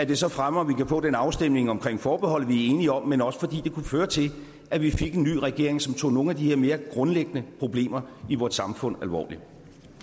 det så fremmer at vi kan få den afstemning om forbeholdet som vi er enige om men også fordi det kunne føre til at vi fik en ny regering som tog nogle af de her mere grundlæggende problemer i vort samfund alvorligt